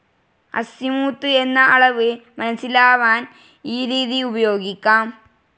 Azimuth എന്ന അളവ് മനസ്സിലാവാൻ ഈ രീതി ഉപയോഗിക്കാം.